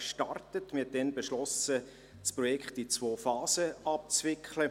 Damals beschloss man, das Projekt in zwei Phasen abzuwickeln.